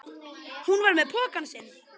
Hún var með pokann sinn.